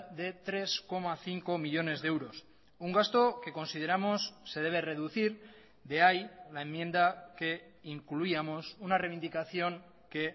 de tres coma cinco millónes de euros un gasto que consideramos se debe reducir de ahí la enmienda que incluíamos una reivindicación que